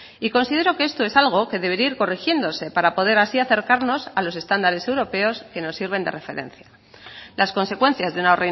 y considero que esto es algo que debería ir corrigiéndose para poder así acercarnos a los estándares europeos que nos sirven de referencia las consecuencias de una